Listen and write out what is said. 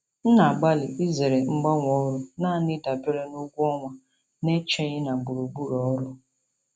M na-agbalị izere mgbanwe ọrụ naanị dabere na ụgwọ ọnwa na-echeghị na gburugburu ọrụ.